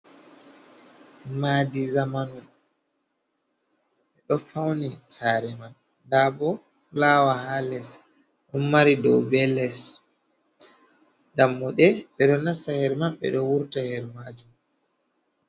Madi zamanu ɗo fauni sare man nda bo fulawa ha les ɗo mari dow be les dammuɗe ɓeɗo nasta her man ɓeɗo wurta her majimon.